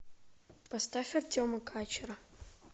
поставь артема качера